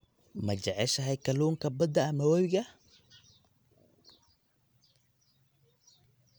Ma jeceshahay kalluunka badda ama webiga?